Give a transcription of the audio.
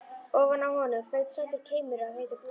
Ofan á honum flaut sætur keimur af heitu blóði.